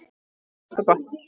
Svo gott!